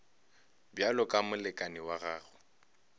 bjalo ka molekane wa gago